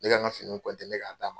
Ne ka nk fini ne k' a d'a ma.